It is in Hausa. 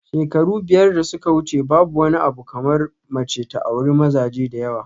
Shekaru biyar da suka wuce babu wani abu kamar mace ta auri mazaje da yawa